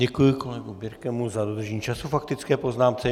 Děkuji kolegovi Birkemu za dodržení času k faktické poznámce.